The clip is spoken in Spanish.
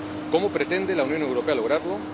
¿Cómo pretende la Unión Europea lograrlo?